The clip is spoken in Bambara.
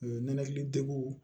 Nɛnɛkili degun